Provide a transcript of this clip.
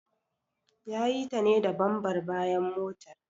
Ya yi ta ne da bambar bayan motar.